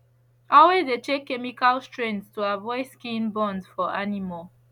always de check chemical strength to avoid skin burns for animals